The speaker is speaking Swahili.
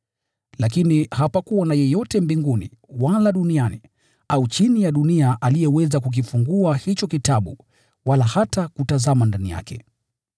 Lakini hapakuwa na yeyote mbinguni wala duniani au chini ya dunia aliyeweza kukifungua hicho kitabu wala hata kutazama ndani yake.